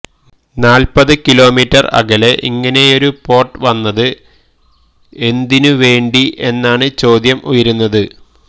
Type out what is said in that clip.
നാല്പത് കിലോമീറ്റർ അകലെ ഇങ്ങിനെയൊരു പോർട്ട് വന്നത് എന്തിനു വേണ്ടി എന്നാണ് ചോദ്യം ഉയരുന്നത്